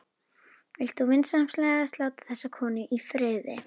Vilt þú vinsamlegast láta þessa konu í friði!